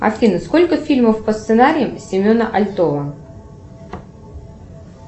афина сколько фильмов по сценариям семена альтова